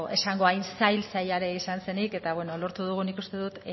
esango hain zail zaila ere izan zenik eta lortu dugu nik uste dut